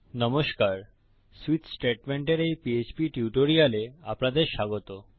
নমস্কার সুইচ স্টেটমেন্টের এই পিএইচপি টিউটোরিয়ালে আপনাদের স্বাগত